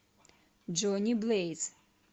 джони блэйз